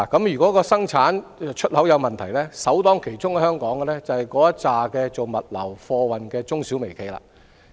如果生產及出口有問題，首當其衝就是在香港經營物流及貨運業務的中小微企業。